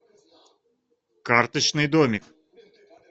карточный домик